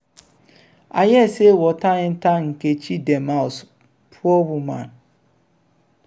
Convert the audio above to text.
i hear say water enter nkechi dem house poor woman!